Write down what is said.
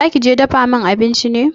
Za ki je ki dafa min abinci ne?